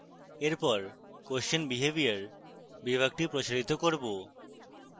এরপর question behaviour বিভাগটি প্রসারিত করব